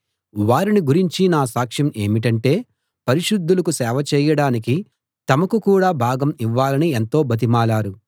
వారిని గురించి నా సాక్ష్యం ఏమిటంటే పరిశుద్ధులకు సేవ చేయడానికి తమకు కూడా భాగం ఇవ్వాలని ఎంతో బతిమాలారు